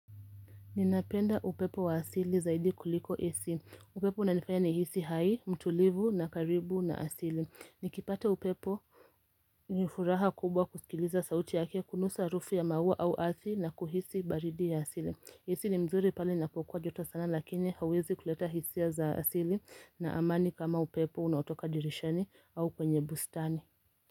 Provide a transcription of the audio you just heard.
Ninapenda upepo wa asili zaidi kuliko isi. Upepo unanifaya ni hisi hai, mtulivu na karibu na asili. Nikipata upepo nifuraha kubwa kusikiliza sauti yake kunusa harufu ya maua au athi na kuhisi baridi ya asili. Isi ni mzuri pale inapokua jota sana lakini hawezi kuleta hisia za asili na amani kama upepo unaotoka dirishani au kwenye bustani.